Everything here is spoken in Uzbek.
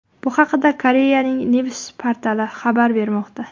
Bu haqda Koreyaning Newsis portali xabar bermoqda .